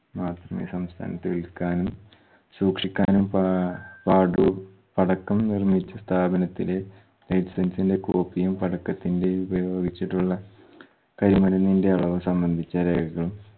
മാത്രമേ സംസ്ഥാനത്ത വിൽക്കാനും സൂക്ഷിക്കാനും പാ പാടുള്ളു പടക്കം നിർമിച്ച സ്ഥാപനത്തിലെ license ന്റെ copy യും പടക്കത്തിന്റെ ഉപയോഗിച്ചിട്ടുള്ള കരിമരുന്നിന്റെ അളവ് സംബന്ധിച്ച രേഖകളും